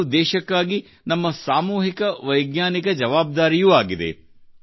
ಇದು ದೇಶಕ್ಕಾಗಿ ನಮ್ಮ ಸಾಮೂಹಿಕ ವೈಜ್ಞಾನಿಕ ಜವಾಬ್ದಾರಿಯೂ ಆಗಿದೆ